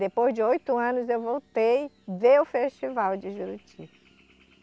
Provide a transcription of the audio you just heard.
Depois de oito anos eu voltei ver o festival de Juruti.